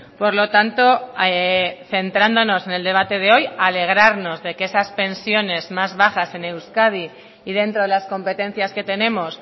por lo tanto centrándonos en el debate de hoy alegrarnos de que esas pensiones más bajas en euskadi y dentro de las competencias que tenemos